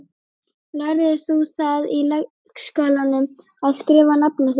Lærðir þú það í leikskólanum, að skrifa nafnið þitt?